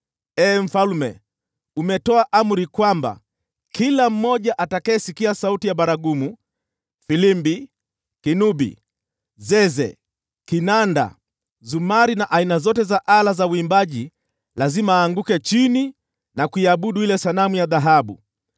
Ee mfalme, umetoa amri kwamba kila mmoja atakayesikia sauti ya baragumu, filimbi, kinubi, zeze, kinanda, zumari na aina zote za ala za uimbaji lazima aanguke chini na kuiabudu ile sanamu ya dhahabu,